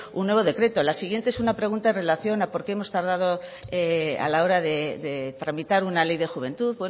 un nuevo decreto la siguiente es una pregunta en relación a por qué hemos tardado a la hora de tramitar una ley de juventud